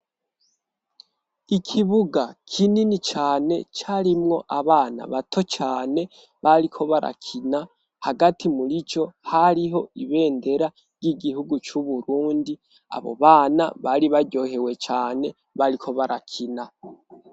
Ikibuga kinini cane carimwo abana bato cane bariko barakina hagati murico hariho ibendera ry'igihugu c'uburundi abo bana bari baryohewe cane bariko barakina.